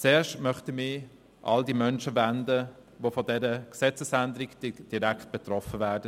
Zuerst möchte ich mich an all jene Menschen wenden, die von dieser Gesetzesänderung direkt betroffen sein werden.